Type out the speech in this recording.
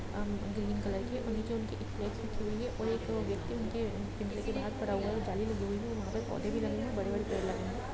अम green colour के और ये जो उनके और एक व्यक्ति उनके पिंजरे के बहार खड़ा हुआ है जाली लगी हुई है वहाँ पर पौधे भी लगे है बड़े-बड़े पेड़ लगे है।